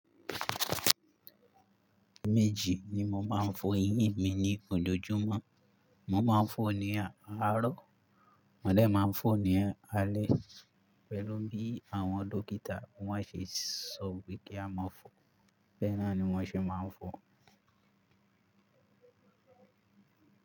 Méjì ni mo máa ń fọ eyín mi ni ojojúmọ́. Mo máa ń fọ ní àárọ̀, maa dẹ máa n fọ ní alẹ́ pẹ̀lú bí àwọn dókítà wọ́n ṣe sọ pé kí a máa fọ. Béẹ nọni wọ́n ṣe máa ń fọ.